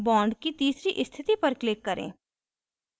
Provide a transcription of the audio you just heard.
bond की तीसरी स्थिति पर click करें